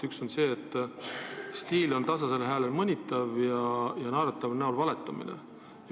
Üks on see, et teie stiil on tasasel häälel mõnitav, ja teine naerataval näol valetamine.